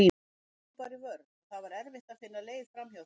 Þær lágu bara í vörn og það var erfitt að finna leið framhjá þeim.